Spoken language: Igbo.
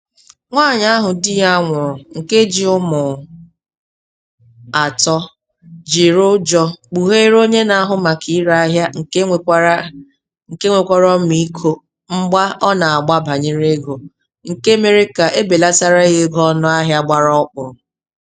Nwaanyị ahụ di ya nwụrụ nke ji ụmụ atọ jiri ụjọ kpugheere onye na-ahụ maka ire ahịa nke nwekwara nke nwekwara ọmiiko mgba ọ na-agba banyere ego, nke mere ka ebelatara ya ego ọnụahịa gbara ọkpụrụ.